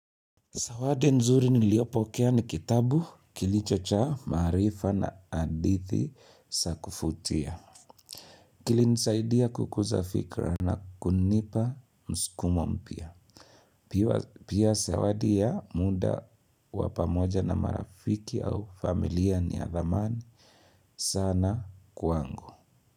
Sawadi nzuri niliopokea ni kitabu kilicho cha maarifa na adithi sa kufutia. Kilinsaidia kukuza fikra na kunipa msukumo mpya Pia sawadi ya muda wa pamoja na marafiki au familia ni ya thamani. Sana kwangu.